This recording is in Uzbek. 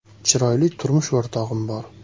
Chiroyli turmush o‘rtog‘im bor.